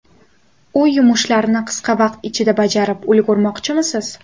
Uy yumushlarini qisqa vaqt ichida bajarib ulgurmoqchimisiz?